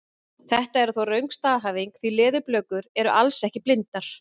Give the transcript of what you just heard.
Þetta er þó röng staðhæfing því leðurblökur eru alls ekki blindar!